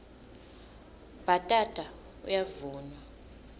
bhatata uyavunwa